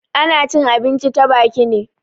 Ana cin abinci ta baki ne.